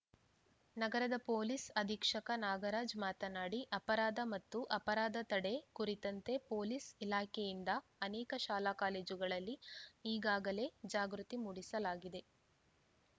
ನಗರದ ಪೊಲೀಸ್‌ ಅಧೀಕ್ಷಕ ನಾಗರಾಜ ಮಾತನಾಡಿ ಅಪರಾಧ ಮತ್ತು ಅಪರಾಧ ತಡೆ ಕುರಿತಂತೆ ಪೊಲೀಸ್‌ ಇಲಾಖೆಯಿಂದ ಅನೇಕ ಶಾಲಾಕಾಲೇಜುಗಳಲ್ಲಿ ಈಗಾಗಲೇ ಜಾಗೃತಿ ಮೂಡಿಸಲಾಗಿದೆ